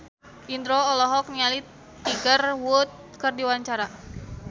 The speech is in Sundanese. Indro olohok ningali Tiger Wood keur diwawancara